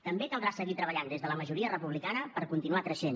també caldrà seguir treballant des de la majoria republicana per continuar creixent